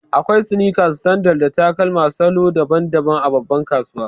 Akwai sneakers, sandal, da takalma salo daban-daban a babban kasuwa.